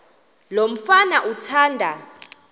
lo mfana athanda